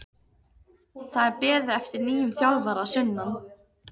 Það er beðið eftir nýjum þjálfara að sunnan.